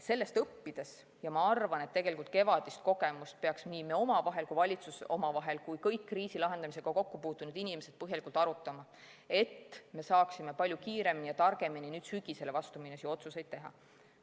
Sellest tuleks õppida ja ma arvan, et kevadist kogemust peaks nii meie omavahel kui ka valitsus ja kõik kriisi lahendamisega kokku puutunud inimesed põhjalikult arutama, et me saaksime palju kiiremini ja targemini nüüd sügisele vastu minnes otsuseid teha.